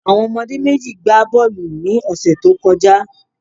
Àwon omodé méjì n gba bóòlù ni òsè tó kojá